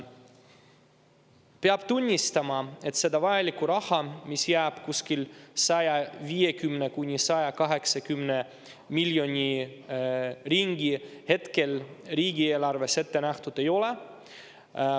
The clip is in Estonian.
Peab tunnistama, et seda vajalikku raha, mis jääb kuskil 150–180 miljoni ringi, hetkel riigieelarves ette nähtud ei ole.